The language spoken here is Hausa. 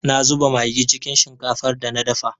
Na zuba magi cikin shinkafar da na dafa.